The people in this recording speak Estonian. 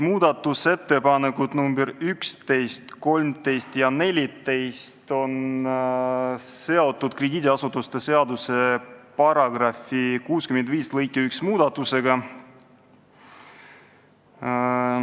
Muudatusettepanekud nr 11, 13 ja 14 on seotud krediidiasutuste seaduse § 65 lõike 1 muudatusega.